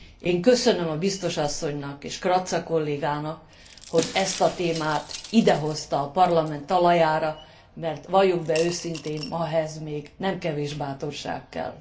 Én köszönöm a biztos asszonynak és Kratsa kollégának, hogy ezt a témát idehozta a Parlament talajára, mert valljuk be őszintén, ma ehhez még nem kevés bátorság kell.